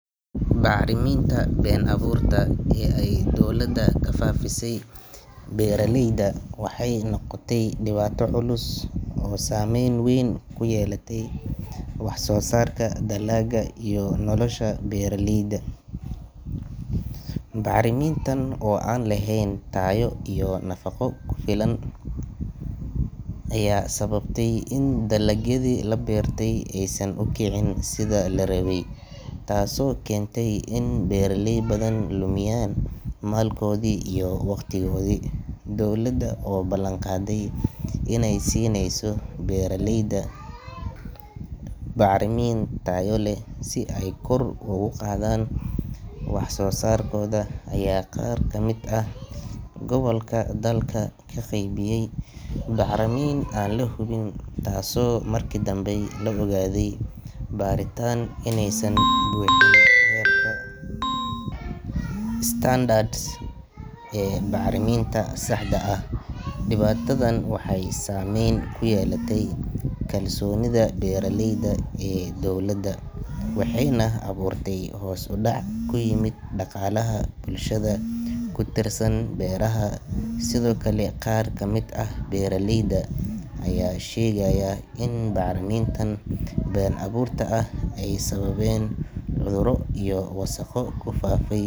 Bacriminta been abuurta ah ee ay dowladda ku faafisay beeraleyda waxay noqotay dhibaato culus oo saameyn weyn ku yeelatay wax-soo-saarka dalagga iyo nolosha beeraleyda. Bacrimintan oo aan lahayn tayo iyo nafaqo ku filan ayaa sababtay in dalagyadii la beertay aysan u kicin sidii la rabay, taasoo keentay in beeraley badan lumiyaan maalkoodii iyo waqtigoodii. Dowladda oo balan qaaday inay siinayso beeraleyda bacrimin tayo leh si ay kor ugu qaadaan wax-soo-saarkooda ayaa qaar ka mid ah gobolka dalka ka qaybiyey bacrimin aan la hubin, taasoo markii dambe lagu ogaaday baaritaan inaysan buuxin heerarka standard ee bacriminta saxda ah. Dhibaatadan waxay saamayn ku yeelatay kalsoonida beeraleyda ee dowladda, waxayna abuurtay hoos u dhac ku yimid dhaqaalaha bulshadaas ku tiirsan beeraha. Sidoo kale, qaar ka mid ah beeraleyda ayaa sheegaya in bacriminta been abuurta ahi ay sababeen cudurro iyo wasakho ku faafay.